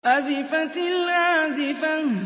أَزِفَتِ الْآزِفَةُ